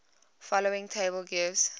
following table gives